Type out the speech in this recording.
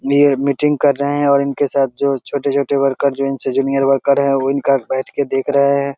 ये मीटिंग कर रहे है और इनके साथ जो छोटे-छोटे वर्कर जो इनसे जूनियर वर्कर है वो इनका बैठ के देख रहे है।